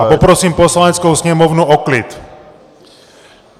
A poprosím Poslaneckou sněmovnu o klid!